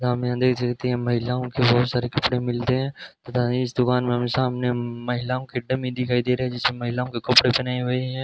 जहां में हम देख सकते हैं महिलाओं के बहोत सारे कपड़े मिलते हैं तथा इस दुकान में हमें सामने महिलाओं के डमी दिखाई दे रहे जिसमें महिलाओं के कपड़े पहनाए हुए हैं।